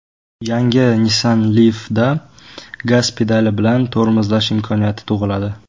Yangi Nissan Leaf’da gaz pedali bilan tormozlash imkoniyati tug‘iladi.